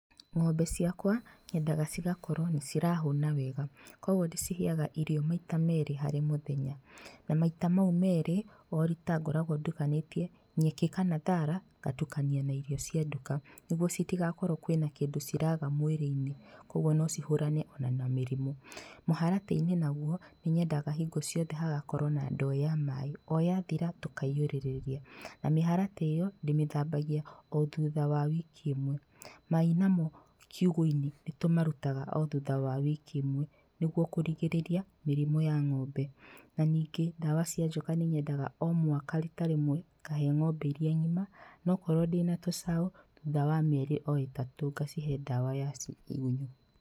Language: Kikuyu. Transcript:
Ng'ombe ciakwa nyendaga cigakorwo nĩirahũna wega koguo ndĩciheaga irio maita merĩ harĩ mũthenya na maita mau merĩ o rita ngoragwo ndũkanĩtie nyeki kana thara ngatukania na irio cia nduka nĩguo citigakorwo kwĩna kĩndũ ciraga mwĩrĩinĩ koguo ona no ihũrane na mĩrimũ. Mũharatĩinĩ naguo nĩnyendaga hagakorwo hĩndĩ ciothe hena ndoo ya maaĩ oyathira tũkaihũrĩrĩria na mĩharatĩ ĩyo ndĩmĩthambagia o thutha wa wiki ĩmwe. Maai mamo kiugũinĩ nĩtũmarutaga o thutha wa wiki ĩmwe nĩguo kũrigĩrĩria mĩrimũ ya ng'ombe na ningĩ ndawa cia njoka nĩnyendaga o mwaka rita rĩmwe ngahe ng'ombe iria ng'ima na okorwo ndĩna tũcaũ o thutha wa mĩeri ĩtatũ ngacihe ndawa ya igunyũ.